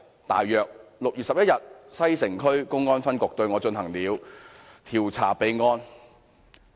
大約在6月11日，西城區公安分局對我進行了調查備案。